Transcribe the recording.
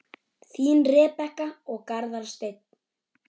Þín, Rebekka og Garðar Steinn.